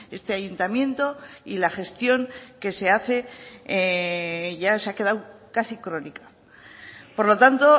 este ayuntamiento y la gestión que se hace ya se ha quedado casi crónica por lo tanto